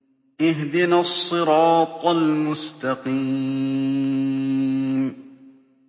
اهْدِنَا الصِّرَاطَ الْمُسْتَقِيمَ